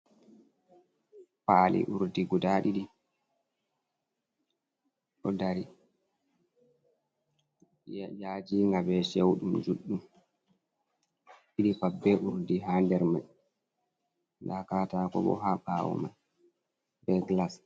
Paali uurdi guda ɗiɗi ɗo dari yajiinga bee cewɗum juɗɗum. Ɗiɗi paɗ bee uurdi haa der mum. Nda kataako boo haa ɓawo mai bee glass.